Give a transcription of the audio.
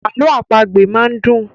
Àlọ àpagbè máa ń dùn.